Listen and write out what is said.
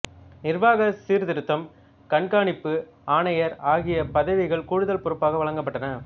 நிர்வாக சீர்திருத்தம் கண்காணிப்பு ஆணையர் ஆகிய பதவிகள் கூடுதல் பொறுப்பாக வழங்கப்பட்டன